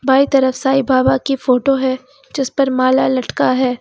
By तरफ साईं बाबा की photo है जिस पर माला लटका है।